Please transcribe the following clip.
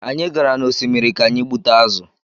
Anyị gara n’osimiri ka anyị gbute azụ̀